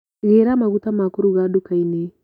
Gĩra maguta ma kũruga ndukainĩ.